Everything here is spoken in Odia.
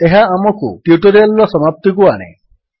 ଏହା ଆମକୁ ଟ୍ୟୁଟୋରିଆଲ୍ ର ସମାପ୍ତିକୁ ଆଣେ